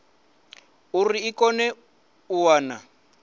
uri i kone u wana